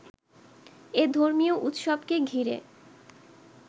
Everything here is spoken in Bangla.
এ ধর্মীয় উৎসবকে ঘিরে